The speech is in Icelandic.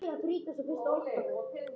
Já, einn af þeim